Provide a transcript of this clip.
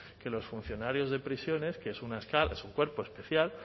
que los funcionarios de prisiones que es una escala es un cuerpo especial